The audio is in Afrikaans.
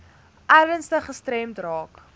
ernstig gestremd raak